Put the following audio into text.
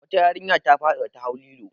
Wata yarinya ta faɗi da ta hau lilo.